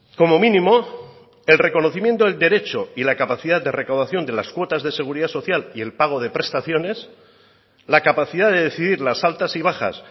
como mínimo el reconocimiento del derecho y la capacidad de recaudación de las cuotas de seguridad social y el pago de prestaciones la capacidad de decidir las altas y bajas